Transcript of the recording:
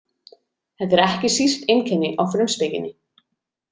Þetta er ekki síst einkenni á Frumspekinni.